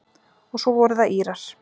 Og svo voru það Írar.